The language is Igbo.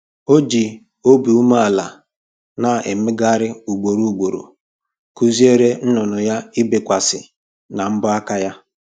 O ji obi umeala na mmegharị ugboro ugboro kụziere nnụnụ ya ibekwasị na mbọ aka ya